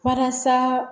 Walasa